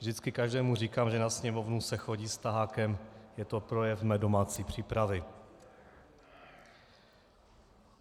Vždycky každému říkám, že na Sněmovnu se chodí s tahákem, je to projev mé domácí přípravy.